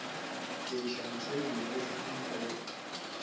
ke iša mosadi yunibesithing o